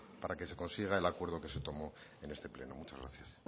para que se consiga el acuerdo que se tomó en este pleno muchas gracias